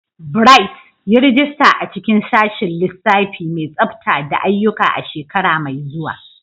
Bright, yi rajista a cikin Sashin Lissafi mai Tsafta da Aiyuka a shekara mai zuwa.